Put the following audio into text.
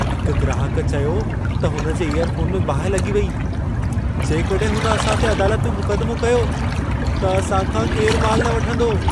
हिक ग्राहक चयो त हुन जे इयरफोन में बाहि लॻी वई। जेकॾहिं हुन असां ते अदालत में मुक़दिमो कयो, त असां खां केरु मालु न वठंदो।